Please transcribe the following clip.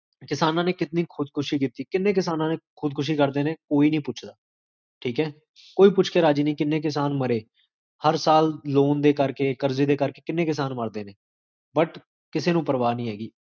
ਜ੍ਕੰਜ